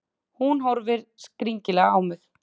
Hún horfir skrítilega á mig.